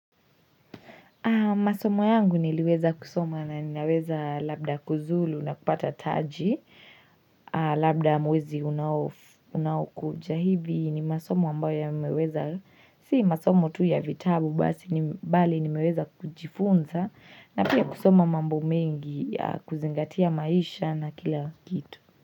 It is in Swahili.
Masomo yangu niliweza kusoma na ninaweza labda kuzulu na kupata taji Labda mwezi unaokuja hivi ni masomo ambayo yameweza Si masomo tu ya vitabu bali nimeweza kujifunza na pia kusoma mambo mengi ya kuzingatia maisha na kila kitu.